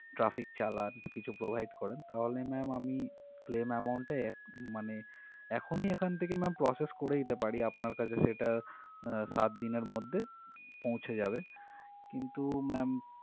Traffic চালান কিছু provide করেন তাহলে ma'am আমি claim amount টা এক মানে এখনই এখান থেকে ma'am process করে দিতে পারি আপনার কাছে সেটা আহ সাত দিনের মধ্যে পৌঁছে যাবে কিন্তু ma'am